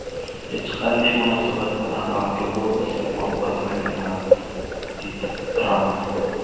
Hech qanday munosabat bilan alkogol iste’mol qilmaganman”, deydi Tramp.